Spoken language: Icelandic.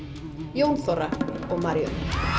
Jón Þorra og Maríu